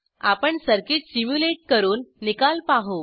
आपण circuit simulate करून निकाल पाहू